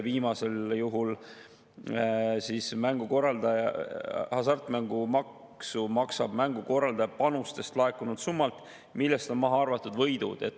Viimasel juhul maksab mängukorraldaja hasartmängumaksu panustest laekunud summalt, millest on maha arvatud võidud.